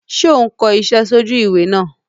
Sé o n ko isé sójú ìwé náà